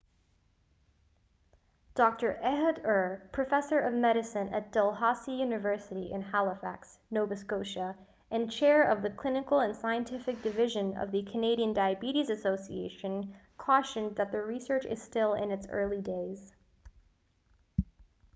dr ehud ur professor of medicine at dalhousie university in halifax nova scotia and chair of the clinical and scientific division of the canadian diabetes association cautioned that the research is still in its early days